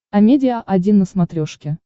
амедиа один на смотрешке